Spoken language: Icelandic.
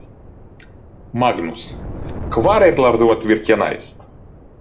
Magnús: Hvar ætlarðu að virkja næst?